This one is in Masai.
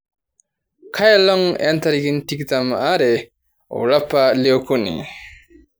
kaa olong' intarikini tikitam aare olapa leokuni